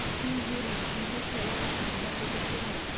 кеи вирус инфекцияларға ағза төтеп бере алады